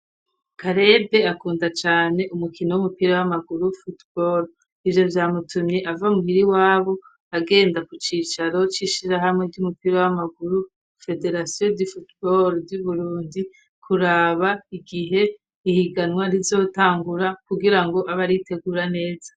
Karebe akunda cane umukino w'umupira w'amaguru football ivyo vyamutumye ava muhira iwabo agenda ku cicaro c'ishirahamwe ry'umupira w'amaguru federation de football du Burundi kuraba igihe ihiganwa rizotangura kugira ngo abe aritegura neza.